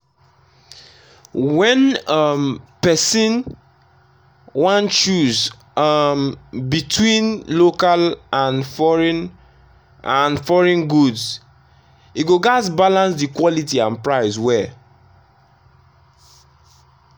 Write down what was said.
when um person wan choose um between local and foreign and foreign goods e go gats balance the quality and price well.